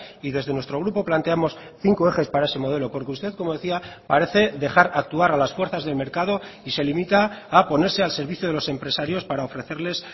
y desde nuestro grupo planteamos cinco ejes para ese modelo porque usted como decía parece dejar actuar a las fuerzas del mercado y se limita a ponerse al servicio de los empresarios para ofrecerles